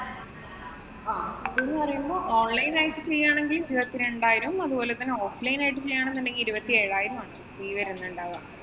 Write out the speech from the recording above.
ആഹ് ഇതെന്ന് പറയുമ്പോള്‍ online ആയിട്ട് ചെയ്യുകയാണെങ്കില്‍ ഇരുപത്തി രണ്ടായിരം അതുപോലെ തന്നെ offline ആയിട്ടു ചെയ്യുകയാണെന്നുണ്ടെങ്കില്‍ ഇരുപത്തിയേഴായിരം ആണ് fee വരുന്നുണ്ടാവുക.